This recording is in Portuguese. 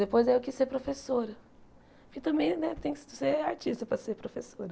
Depois eu quis ser professora, porque também né tem que ser artista para ser professora.